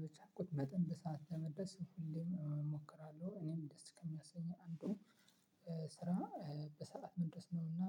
በቻልኩት መጠን በሰአት ለመድረስ እሞክራለሁ። እኔም ደስ ከሚያሰኘው አንዱ ስራ በሰአት መድረስ ነውና።